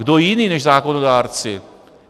Kdo jiný než zákonodárci?